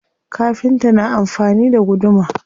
Kafinta na amfani da guduma.